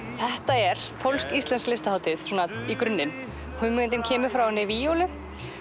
þetta er pólsk íslensk listahátíð í grunninn hugmyndin kemur frá víólu